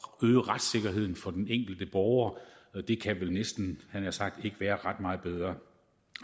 øge retssikkerheden for den enkelte borger det kan vel næsten ikke jeg nær sagt være ret meget bedre